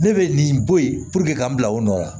Ne bɛ nin bɔ yen puruke k'an bila o nɔ la